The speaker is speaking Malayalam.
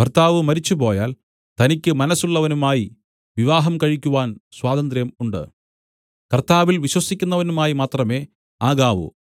ഭർത്താവ് മരിച്ചുപോയാൽ തനിക്ക് മനസ്സുള്ളവനുമായി വിവാഹം കഴിക്കുവാൻ സ്വാതന്ത്ര്യം ഉണ്ട് കർത്താവിൽ വിശ്വസിക്കുന്നവനുമായി മാത്രമേ ആകാവൂ